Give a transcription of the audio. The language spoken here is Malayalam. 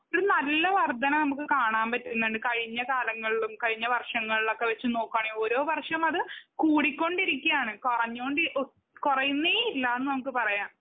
നല്ല വർദ്ധനവ് നമുക്ക് കാണാൻ പറ്റുന്നുണ്ട് കഴിഞ്ഞ കാലങ്ങളിലും കഴിഞ്ഞ വർഷങ്ങളിലുമൊക്കെ നോക്കുവാണെങ്കിൽ ഓരോ വർഷവും അത് കൂടിക്കൊണ്ടിരിക്കുവാണ്. കൊറഞ്ഞു ഹോ കൊറയുന്നെ ഇല്ലന്ന് നമുക്ക് പറയാം.